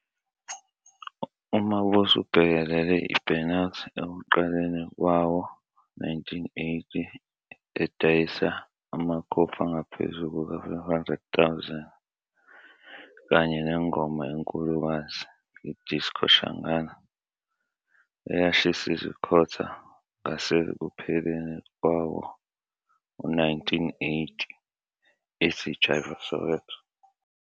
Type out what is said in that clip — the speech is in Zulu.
UMabuse ubhekelele i-" Burn Out " ekuqaleni kwawo-1980 eyadayisa amakhophi angaphezu kuka-500,000, kanye nengoma enkulukazi, iDisco Shangaan, eyashisa izikhotha ngasekupheleni kwawo-1980, ethi "Jive Soweto".